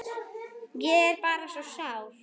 Ég er bara svo sár.